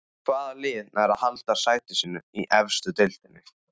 Hvaða lið nær að halda sæti sínu í efstu deild?